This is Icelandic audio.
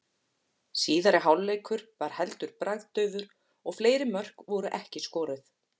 Síðari hálfleikur var heldur bragðdaufur og fleiri mörk voru ekki skoruð.